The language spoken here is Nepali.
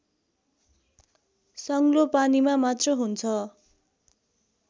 सङ्लो पानीमा मात्र हुन्छ